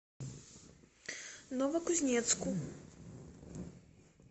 новокузнецку